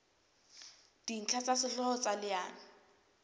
dintlha tsa sehlooho tsa leano